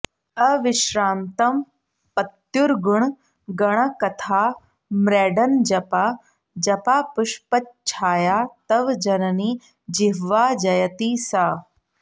अविश्रान्तं पत्युर्गुणगणकथाम्रेडनजपा जपापुष्पच्छाया तव जननि जिह्वा जयति सा